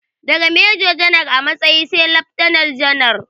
Daga mejo janar a matsayi sai laftanal janar